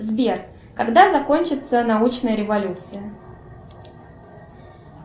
сбер когда закончится научная революция